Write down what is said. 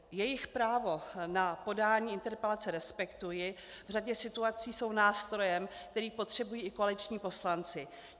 Jejich právo na podání interpelace respektuji, v řadě situací jsou nástrojem, který potřebují i koaliční poslanci.